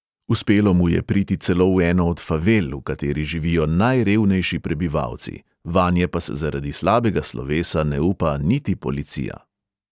Uspelo mu je priti celo v eno od favel, v kateri živijo najrevnejši prebivalci, vanje pa se zaradi slabega slovesa ne upa niti policija.